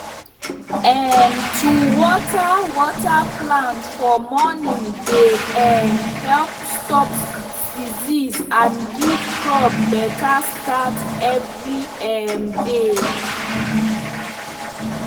um to water water plant for morning dey um help stop disease and give crop better start every um day.